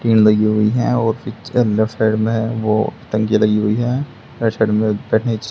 tin लगी हुई हैं और पिक्चर लेफ्ट साइड में वो टंकी लगी हुई है राइट साइड में